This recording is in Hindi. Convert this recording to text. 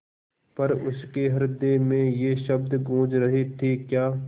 पर उसके हृदय में ये शब्द गूँज रहे थेक्या